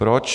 Proč?